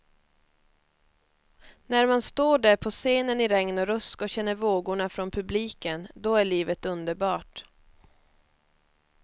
När man står där på scenen i regn och rusk och känner vågorna från publiken, då är livet underbart.